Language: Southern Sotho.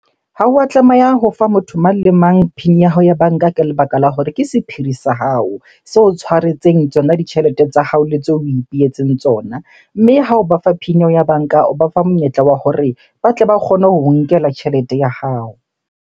Ha wa tlameha ho fa motho mang le mang PIN ya hao ya banka ka lebaka la hore ke sephiri sa hao. Se o tshwaretseng tsona ditjhelete tsa hao le tseo o ipehetseng tsona. Mme ha o ba fa PIN eo ya banka, o ba fa monyetla wa hore ba tle ba kgone ho o nkela tjhelete ya hao.